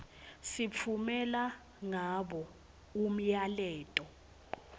sitfumela ngabo umyaleto